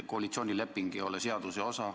Koalitsioonileping ei ole seaduse osa.